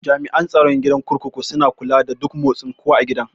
Jami'an tsaron gidan kurkuku suna kula da duk motsin kowa a gidan